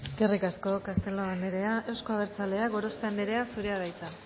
eskerrik asko castelo andrea euzko abertzaleak gorospe andrea zurea da hitza